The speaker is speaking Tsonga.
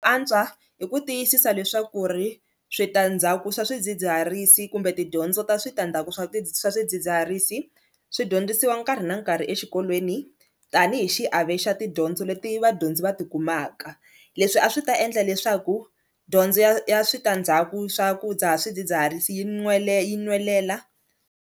Antswa hi ku tiyisisa leswaku ri switandzhaku swa swidzidziharisi kumbe tidyondzo ta switandzhaku swa swidzidziharisi swi dyondzisiwa nkarhi na nkarhi exikolweni tanihi xiave xa tidyondzo leti vadyondzi va tikumaka, leswi a swi ta endla leswaku dyondzo ya ya switandzhaku swa ku dzaha swidzidziharisi yi yi nwelela.